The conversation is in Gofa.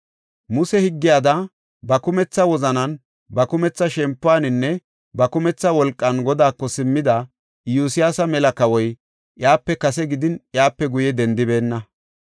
Muse higgiyada ba kumetha wozanan, ba kumetha shempuwaninne, ba kumetha wolqan Godaako simmida Iyosyaasa mela kawoy, iyape kase gidin, iyape guye dendibeenna.